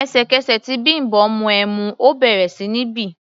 Ẹ̀sẹ̀kẹsẹ̀ tí Bimbo mu ẹmu, ó bẹ̀rẹ̀ sí ní bì.